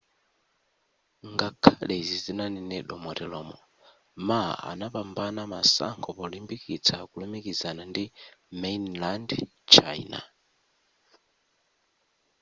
ngakhale izi zinanenedwa moteromo ma anapambana masankho polimbikitsa kulumikizana ndi mainland china